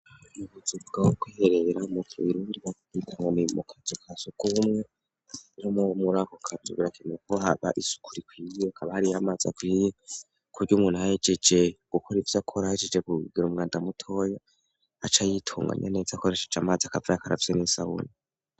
Yibuzi bwakwiherera mutwirurwakwitanwo ni mu kazo ka suk umwe no mo muri ako kazugurakineko haba isuku rikwingirekaaba hariyo amazi akwiye kurya umuntu hhejeje gukora ivyo akorahjije kuggera umwandamutoya aca yitunganya neza akoresheje amazi akava ya karavyo n'isawuni.